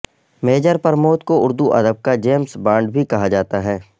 major Pramod کو اردو ادب کا جیمز بانڈ بھی کہا جاتا ہے